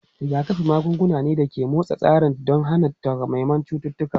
Rigakafi magunguna ne da ke motsa tsarin tsaro don hana takamaiman cututtuka.